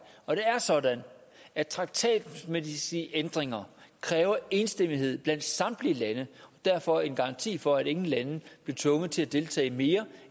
og det er sådan at traktatmæssige ændringer kræver enstemmighed blandt samtlige lande derfor er det en garanti for at ingen lande bliver tvunget til at deltage mere